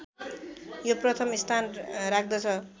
यो प्रथम स्थान राख्दछ